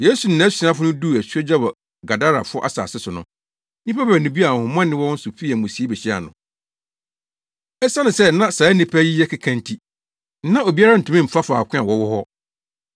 Yesu ne nʼasuafo no duu asuogya wɔ Gadarafo asase so no, nnipa baanu bi a ahonhommɔne wɔ wɔn so fii amusiei behyiaa no. Esiane sɛ na saa nnipa yi yɛ keka nti, na obiara ntumi mfa faako a wɔwɔ hɔ.